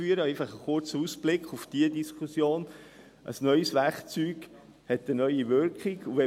dies einfach ein kurzer Ausblick auf diese Diskussion –, dass ein neues Werkzeug eine neue Wirkung hat.